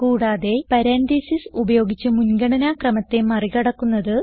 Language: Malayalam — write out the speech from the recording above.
കൂടാതെ പരാൻതീസിസ് ഉപയോഗിച്ച് മുൻഗണന ക്രമത്തെ മറികടക്കുന്നത്